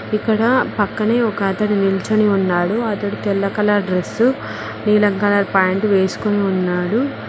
ఇక్కడ పక్కనే ఒక అతడు నిల్చొని ఉన్నాడు అతడు తెల్ల కలర్ డ్రస్సు నీలం కలర్ పాయింట్ వేసుకొని ఉన్నాడు.